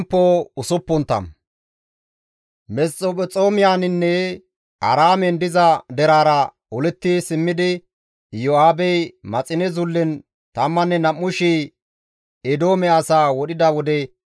Abeet Xoossawu! Neni nuna aggadasa; nuna menththereththa yeggadasa; neni nuna hanqettadasa; ha7i gidikko simmada nuna giigsa.